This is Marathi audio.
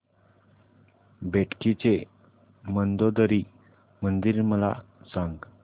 बेटकी चे मंदोदरी मंदिर मला सांग